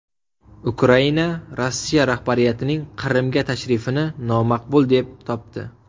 Ukraina Rossiya rahbariyatining Qrimga tashrifini nomaqbul deb topdi.